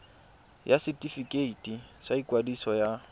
ya setefikeiti sa ikwadiso ya